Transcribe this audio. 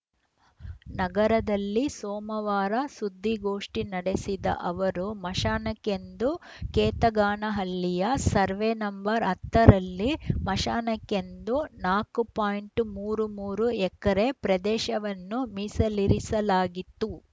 ನಗರದಲ್ಲಿ ಸೋಮವಾರ ಸುದ್ದಿಗೋಷ್ಠಿ ನಡೆಸಿದ ಅವರು ಮಶಾನಕ್ಕೆಂದು ಕೇತಗಾನಹಳ್ಳಿಯ ಸರ್ವೆ ನಂಬರ್ ಹತ್ತ ರಲ್ಲಿ ಮಶಾನಕ್ಕೆಂದು ನಾಲ್ಕು ಪಾಯಿಂಟ್ ಮೂರು ಮೂರು ಎಕರೆ ಪ್ರದೇಶವನ್ನು ಮೀಸಲಿರಿಸಲಾಗಿತ್ತು